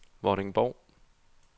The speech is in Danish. Vordingborg